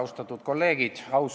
Austatud kolleegid!